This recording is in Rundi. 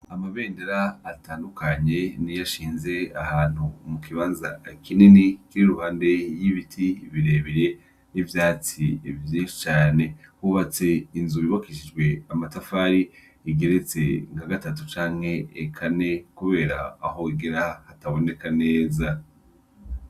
Amabendera atandukanye niyo ashinze ahantu mu kibanza kinini, kiri iruhande y'ibiti birebire, n'ivyatsi vyinshi cane. Hubatse inzu yubakishijwe amatafari, igeretse nka gatatu canke kane, kubera aho igera ntihaboneka neza.